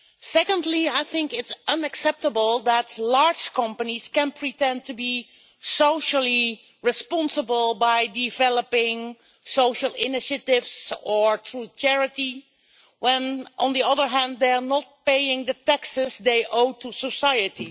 Secondly, it is unacceptable that large companies can pretend to be socially responsible by developing social initiatives, or through charity, when, on the other hand, they are not paying the taxes they owe to society.